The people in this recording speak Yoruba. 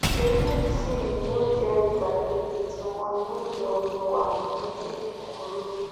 eléyìí sì ni yóò jẹ ìgbà kejì tí wọn yóò yọ orúkọ àwọn méjèèjì kúrò